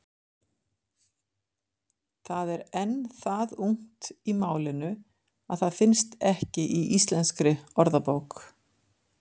Það er enn það ungt í málinu að það finnst ekki í Íslenskri orðabók.